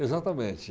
Exatamente.